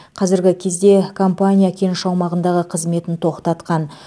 қазіргі кезде компания кеніш аумағындағы қызметін тоқтатқан